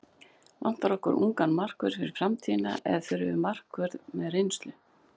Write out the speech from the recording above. Vantar okkur ungan markvörð fyrir framtíðina eða þurfum við markvörð með reynslu?